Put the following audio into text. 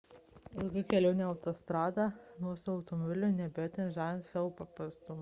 ilga kelionė autostrada nuosavu automobiliu neabejotinai žavi savo paprastumu